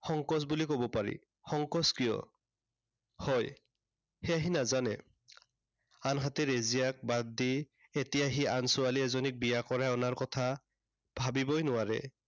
সংকোচ বুলি কব পাৰি। সংকোচ কিয় হয়, সেয়া সি নাজানে। আনহাতে ৰেজিয়াক বাদ দি, এতিয়া সি আন ছোৱালী এজনীক বিয়া কৰাই অনাৰ কথা, ভাবিবই নোৱাৰে।